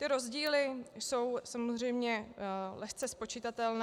Ty rozdíly jsou samozřejmě lehce spočitatelné.